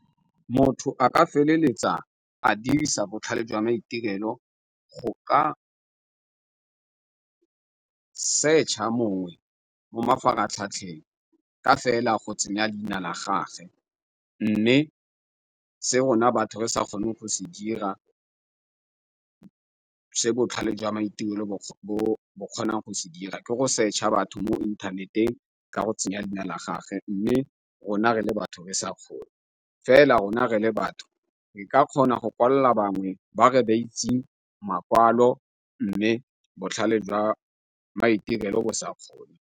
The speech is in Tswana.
Motho a ka feleletsa a dirisa botlhale jwa maitirelo go ka searcher mongwe mo mafaratlhatlheng ka fela go tsenya leina la gage, mme se rona batho re sa kgone go se dira se botlhale jwa maitirelo bo kgonang go se dira ke go searcher batho mo inthaneteng ka go tsenya leina la gage mme rona re le batho re sa kgone. Fela rona re le batho re ka kgona go kwalla bangwe ba re ba itseng makwalo, mme botlhale jwa maitirelo bo sa kgone.